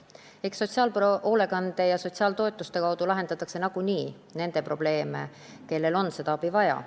Aga sotsiaalhoolekande ja sotsiaaltoetuste abil lahendatakse nagunii nende inimeste probleeme, kellel on abi vaja.